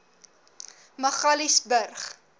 magaliesburg